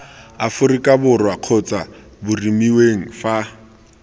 aforika borwa kgotsa boromiweng fa